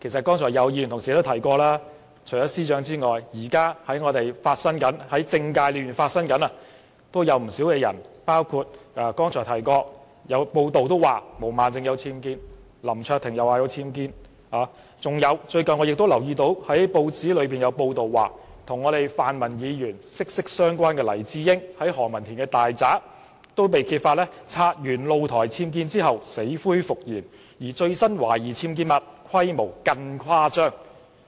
剛才也有議員同事提及，除了司長外，現時政界亦有不少人士，包括剛才提到有報道指毛孟靜議員和林卓廷議員均家有僭建，我最近亦留意到有報章報道，與泛民議員關係密切的黎智英，也被揭發其在何文田大宅的僭建露台清拆後，死灰復燃，而最新的懷疑僭建物規模更是誇張。